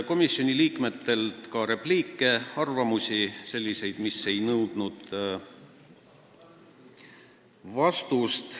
Komisjoni liikmetelt kõlas ka selliseid repliike, mis ei nõudnud vastust.